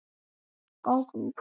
Hvað eru Haukur og